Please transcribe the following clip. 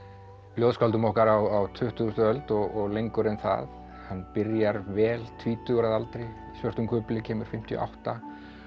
ljóðskáldum okkar á tuttugustu öld og lengur en það hann byrjar vel tvítugur að aldri í svörtum kufli kemur fimmtíu og átta